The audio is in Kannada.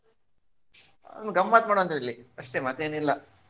ಗಮತ್ತ್ ಮಾಡು ಅಂತ ಹೇಳಿ. ಅಷ್ಟೇ ಮತ್ತ್ ಏನ್ ಇಲ್ಲ.